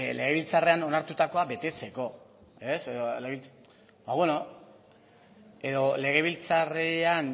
legebiltzarrean onartutakoa betetzeko ba beno edo legebiltzarrean